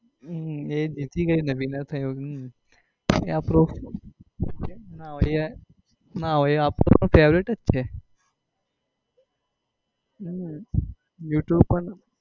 હમ એ જીતી ગઈ ને winner થઇ ને હમ એ આપડું ના હોય એ આપણું પણ favourite જ છે you tube પર